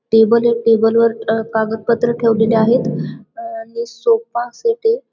टेबलय table वर अ कागद पत्र ठेवलेली आहेत आणि सोफासेट य.